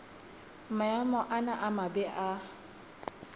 maemo ana a mabe a